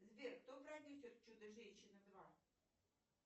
сбер кто продюсер чудо женщины два